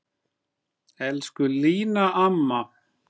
Elsku Lína amma.